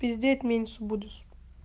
пиздеть меньше будешь